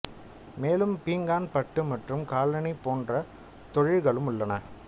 மேலும் பீங்கான் பட்டு மற்றும் காலணி போன்றத் தொழில்களும் உள்ளன